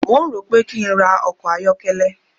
Mò ń rò ó pé kí n ra ọkọ̀ ayọ́kẹ́lẹ́.